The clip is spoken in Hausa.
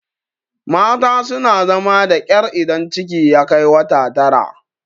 mata suna zama da ƙyar idan ciki ya Kai wata Tara